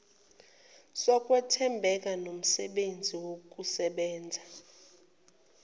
sokwethembeka nomsebenzi wokusebenza